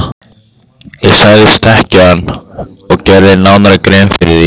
Ég sagðist þekkja hann og gerði nánari grein fyrir því.